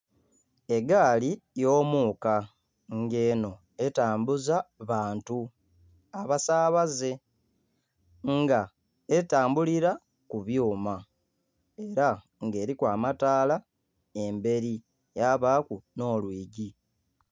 Egaali y'omuuka nga enho etambuza bantu, abasaabaze. Nga etambulira ku byuma era nga eriku amataala emberi yabaaku nh'olwigi.